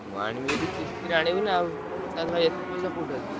ମୁଁ ଆଣିବି ଯଦି କିସ୍ତିରେ ଆଣିବି ନାଉ ହଠାତ ଭାଇ ଏତେ ପଇସା କୋଉଠି ଆସିବ?